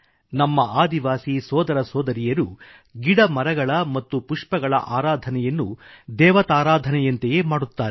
ನಮ್ಮ ಆದಿವಾಸಿ ಸೋದರಸೋದರಿಯರು ಗಿಡಮರಗಳ ಮತ್ತು ಪುಷ್ಪಗಳ ಆರಾಧನೆಯನ್ನೂ ದೇವತಾರಾಧನೆಯಂತೆಯೇ ಮಾಡುತ್ತಾರೆ